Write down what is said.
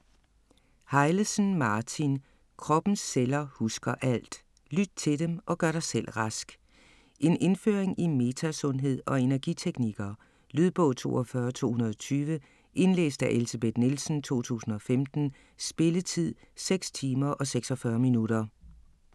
Hejlesen, Martin: Kroppens celler husker alt: lyt til dem, og gør dig selv rask En indføring i metasundhed og energiteknikker. Lydbog 42220 Indlæst af Elsebeth Nielsen, 2015. Spilletid: 6 timer, 46 minutter.